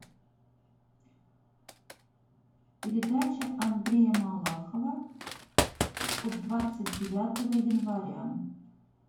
передача андрея малахова от двадцать девятого января